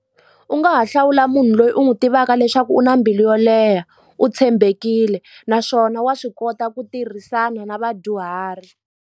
U nga ha hlawula munhu loyi u n'wi tivaka leswaku u na mbilu yo leha u tshembekile naswona wa swi kota ku tirhisana na vadyuhari.